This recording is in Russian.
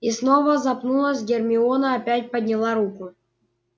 и снова запнулась гермиона опять подняла руку